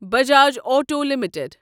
Bajaj auto limited